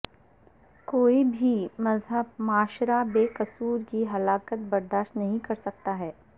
کوئی بھی مہذب معاشرہ بے قصور کی ہلاکت برداشت نہیں کرسکتا ہے